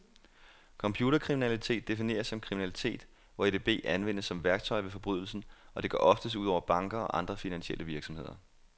Computerkriminalitet defineres som kriminalitet, hvor edb anvendes som værktøj ved forbrydelsen, og det går oftest ud over banker og andre finansielle virksomheder.